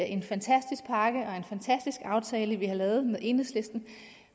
en fantastisk aftale vi har lavet med enhedslisten